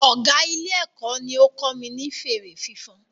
Ọgá Ilé-èkó ní ó kọ́ mi ní fèrè fífan